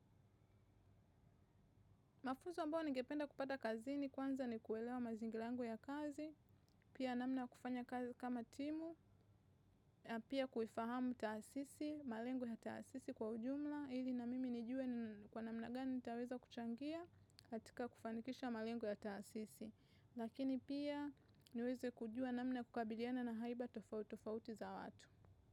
Mafunzo ambayo ningependa kupata kazini, kwanza ni kuelewa mazingira yangu ya kazi, pia namna ya kufanya kazi kama timu, na pia kuifahamu taasisi, malengo ya taasisi kwa ujumla, ili na mimi nijue kwa namna gani nitaweza kuchangia, katika kufanikisha malengo ya taasisi. Lakini pia niweze kujua namna ya kukabiliana na haiba tofauti tofauti za watu.